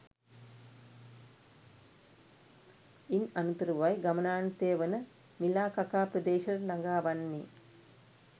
ඉන් අනතුරුවයි ගමනාන්තය වන මිලාකකා ප්‍රදේශයට ලඟා වන්නේ